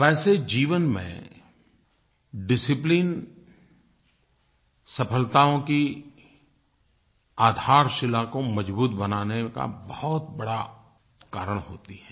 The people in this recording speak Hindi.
वैसे जीवन में डिसिप्लिन सफलताओं की आधारशिला को मजबूत बनाने का बहुत बड़ा कारण होती है